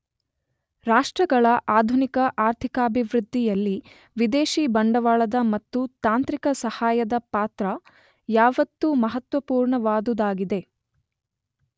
ರಾಷ್ಟ್ರಗಳ ಆಧುನಿಕ ಆರ್ಥಿಕಾಭಿವೃದ್ಧಿಯಲ್ಲಿ ವಿದೇಶೀ ಬಂಡವಾಳದ ಮತ್ತು ತಾಂತ್ರಿಕ ಸಹಾಯದ ಪಾತ್ರ ಯಾವತ್ತೂ ಮಹತ್ವಪುರ್ಣವಾದುದಾಗಿದೆ.